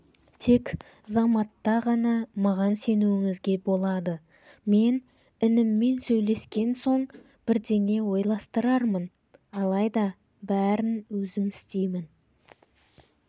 тек заматта ғана маған сенуіңізге болады мен ініммен сөйлескен соң бірдеңе ойластырармын алайда бәрін өзім істеймін